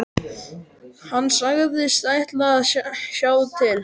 Hann sagðist ætla að sjá til.